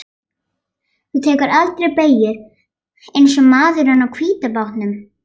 Þú tekur aldrei beygjur eins og maðurinn á hvíta bátnum.